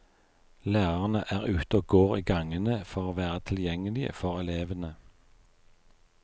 Lærerne er ute og går i gangene for å være tilgjengelige for elevene.